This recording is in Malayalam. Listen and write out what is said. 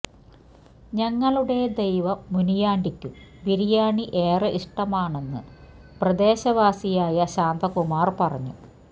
ഞങ്ങളുടെ ദൈവം മുനിയാണ്ടിക്കും ബിരിയാണി ഏറെ ഇഷ്ടമാണെന്നു പ്രദേശവാസിയായ ശാന്തകുമാര് പറഞ്ഞു